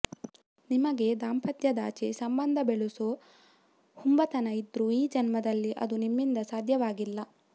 ನಿಮಗೆ ದಾಂಪತ್ಯದಾಚೆ ಸಂಬಂಧ ಬೆಳೆಸೋ ಹುಂಬತನ ಇದ್ರೂ ಈ ಜನ್ಮದಲ್ಲಿ ಅದು ನಿಮ್ಮಿಂದ ಸಾಧ್ಯವಾಗಲ್ಲ